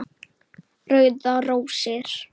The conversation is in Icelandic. Rauðar rósir